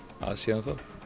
að síðan þá